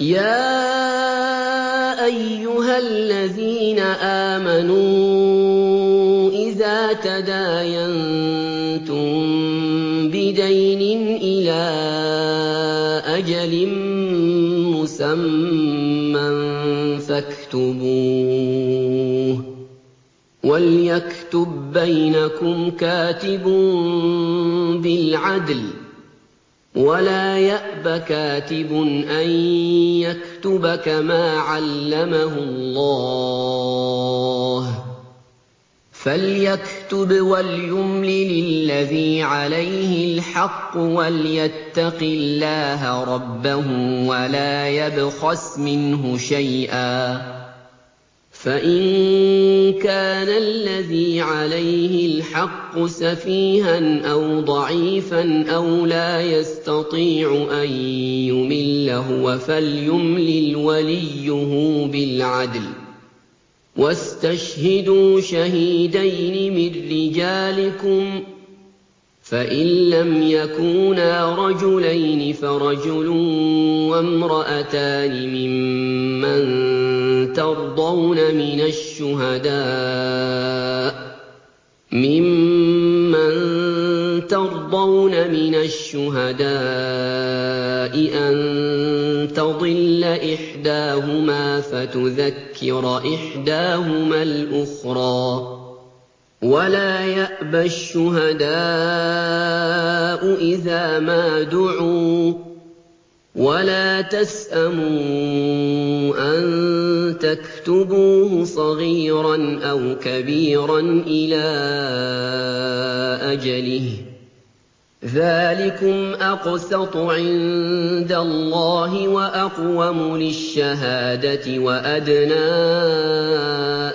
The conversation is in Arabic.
يَا أَيُّهَا الَّذِينَ آمَنُوا إِذَا تَدَايَنتُم بِدَيْنٍ إِلَىٰ أَجَلٍ مُّسَمًّى فَاكْتُبُوهُ ۚ وَلْيَكْتُب بَّيْنَكُمْ كَاتِبٌ بِالْعَدْلِ ۚ وَلَا يَأْبَ كَاتِبٌ أَن يَكْتُبَ كَمَا عَلَّمَهُ اللَّهُ ۚ فَلْيَكْتُبْ وَلْيُمْلِلِ الَّذِي عَلَيْهِ الْحَقُّ وَلْيَتَّقِ اللَّهَ رَبَّهُ وَلَا يَبْخَسْ مِنْهُ شَيْئًا ۚ فَإِن كَانَ الَّذِي عَلَيْهِ الْحَقُّ سَفِيهًا أَوْ ضَعِيفًا أَوْ لَا يَسْتَطِيعُ أَن يُمِلَّ هُوَ فَلْيُمْلِلْ وَلِيُّهُ بِالْعَدْلِ ۚ وَاسْتَشْهِدُوا شَهِيدَيْنِ مِن رِّجَالِكُمْ ۖ فَإِن لَّمْ يَكُونَا رَجُلَيْنِ فَرَجُلٌ وَامْرَأَتَانِ مِمَّن تَرْضَوْنَ مِنَ الشُّهَدَاءِ أَن تَضِلَّ إِحْدَاهُمَا فَتُذَكِّرَ إِحْدَاهُمَا الْأُخْرَىٰ ۚ وَلَا يَأْبَ الشُّهَدَاءُ إِذَا مَا دُعُوا ۚ وَلَا تَسْأَمُوا أَن تَكْتُبُوهُ صَغِيرًا أَوْ كَبِيرًا إِلَىٰ أَجَلِهِ ۚ ذَٰلِكُمْ أَقْسَطُ عِندَ اللَّهِ وَأَقْوَمُ لِلشَّهَادَةِ وَأَدْنَىٰ